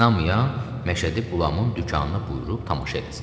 İnanmayan Məşədi Qulamın dükanına buyurub tamaşa eləsin.